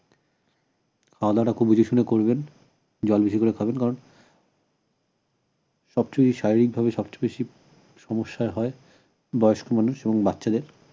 খাওয়াদাওয়াটা খুব দেখেশুনে করবেন জল বেশি করে খাবেন কারণ সবচেয়ে বেশি শারীরিক ভাবে সবচেয়ে বেশি সমস্যা হয় বয়স্ক মানুষ এবং বাচ্চাদের